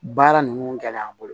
Baara ninnu gɛlɛya n bolo